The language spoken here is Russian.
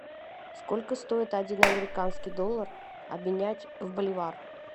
сколько стоит один американский доллар обменять в боливар